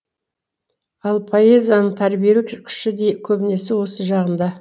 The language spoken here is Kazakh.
бұл поэзияның тәрбиелік күші де көбінесе осы жағында